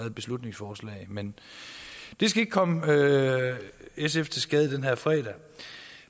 et beslutningsforslag men det skal ikke komme sf til skade den her fredag